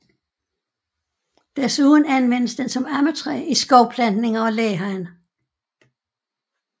Desuden anvendes den som ammetræ i skovplantninger og læhegn